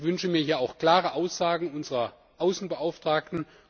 Ich wünsche mir hier auch klare Aussagen unserer Außenbeauftragten.